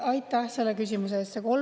Aitäh selle küsimuse eest!